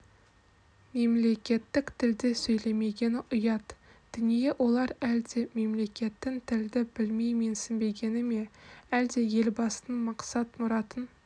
мемлекеттік тілде сөйлемегені ұят дүние олар әлде мемлекеттік тілді білмей менсінбегені ме әлде елбасының мақсат-мұратын